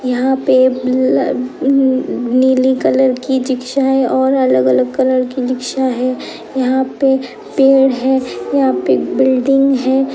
यहाँं पे नीली कलर की रिक्शा है और अलग-अलग कलर की रिक्शा है। यहाँं पे पेड़ है यहाँ पे एक बिल्डिंग है।